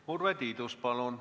Urve Tiidus, palun!